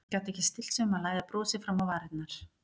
Gat ekki stillt sig um að læða brosi fram á varirnar.